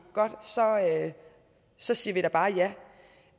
godt så så siger vi bare